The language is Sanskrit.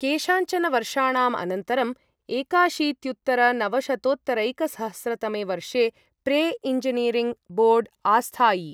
केषाञ्चन वर्षाणां अनन्तरं एकाशीत्युत्तरनवशतोत्तरैकसहस्र तमे वर्षे प्रे एञ्जिनीरिङ्ग् बोर्ड् आस्थायि।